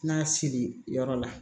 N'a siri yɔrɔ la